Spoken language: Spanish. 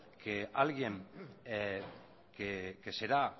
que alguien que será